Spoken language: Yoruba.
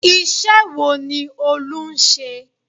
Iṣẹ́ wo ni Olú ń ṣe?